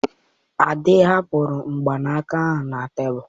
Ade, hapụrụ mgbanaka ahụ na tebụl!